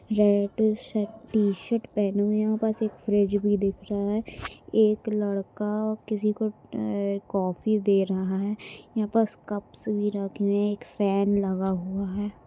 Red shirt t shirt पहने हुए यहाँ पास फ्रिज भी दिख रहा है एक लड़का किसी को एं कॉफ़ी दे रहा है यहाँ पास कप्स भी रखे हुए है एक फैन लगा हुआ हैं।